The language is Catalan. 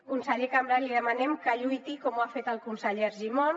conseller cambray li demanem que lluiti com ho ha fet el conseller argimon